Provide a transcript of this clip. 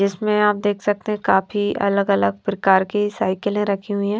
जिसमें आप देख सकते है काफी अलग अलग प्रकार की साइकिले रखी हुई हैं।